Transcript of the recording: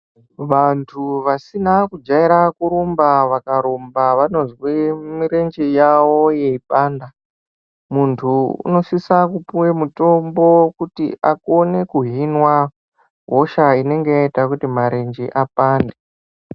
Vantu vasina kujaira kurumba vakarumba vanozwa mirenje yavo yeipanda muntu unosisa kupuwa mitombo kuti akone kuhinwa hosha inoita kuti marenje apande.